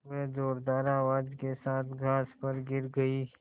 वह ज़ोरदार आवाज़ के साथ घास पर गिर गई